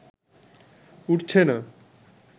উঠছে না